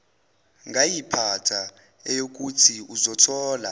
ngayiphatha eyokuthi uzothola